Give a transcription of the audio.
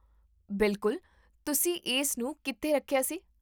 ਬਿਲਕੁਲ, ਤੁਸੀਂ ਇਸ ਨੂੰ ਕਿੱਥੇ ਰੱਖਿਆ ਸੀ?